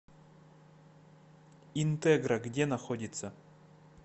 интегра где находится